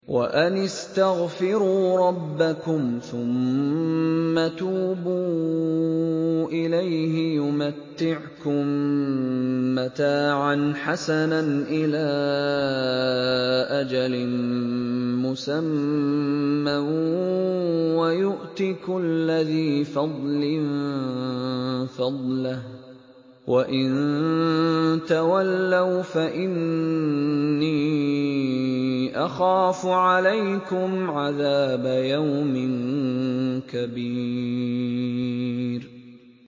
وَأَنِ اسْتَغْفِرُوا رَبَّكُمْ ثُمَّ تُوبُوا إِلَيْهِ يُمَتِّعْكُم مَّتَاعًا حَسَنًا إِلَىٰ أَجَلٍ مُّسَمًّى وَيُؤْتِ كُلَّ ذِي فَضْلٍ فَضْلَهُ ۖ وَإِن تَوَلَّوْا فَإِنِّي أَخَافُ عَلَيْكُمْ عَذَابَ يَوْمٍ كَبِيرٍ